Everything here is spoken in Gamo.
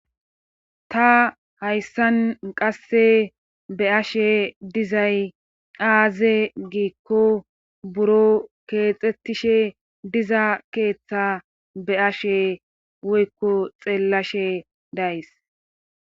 Ta hayssan qasse be ashe dizay aaze giikko buro keexxettishe diza keeththa be ashe woykko xeellashe days.